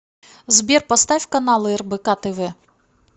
сбер поставь каналы рбк тв